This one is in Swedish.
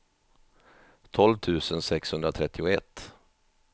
tolv tusen sexhundratrettioett